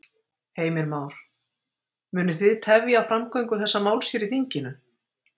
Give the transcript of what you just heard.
Heimir Már: Munu þið tefja framgöngu þessa máls hér í þinginu?